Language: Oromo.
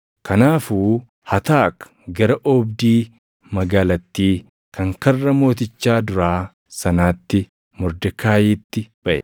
Kanaafuu Hataak gara oobdii magaalattii kan karra mootichaa duraa sanaatti Mordekaayiitti baʼe.